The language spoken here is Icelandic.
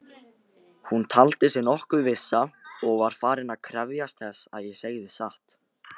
Hún taldi sig nokkuð vissa og var farin að krefjast þess að ég segði satt.